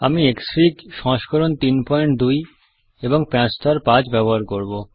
আমি ক্সফিগ সংস্করণ ৩২ প্যাচ স্তর ৫ ব্যবহার করব